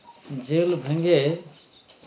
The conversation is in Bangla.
jail ভেঙ্গে